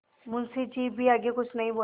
मुंशी जी भी आगे कुछ नहीं बोले